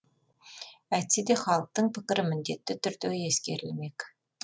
әйтсе де халықтың пікірі міндетті түрде ескерілмек